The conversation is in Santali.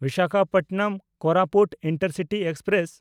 ᱵᱤᱥᱟᱠᱷᱟᱯᱚᱴᱱᱚᱢ–ᱠᱳᱨᱟᱯᱩᱴ ᱤᱱᱴᱟᱨᱥᱤᱴᱤ ᱮᱠᱥᱯᱨᱮᱥ